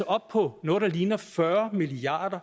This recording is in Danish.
oppe på noget der ligner fyrre milliard